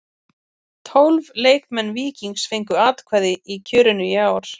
Tólf leikmenn Víkings fengu atkvæði í kjörinu í ár.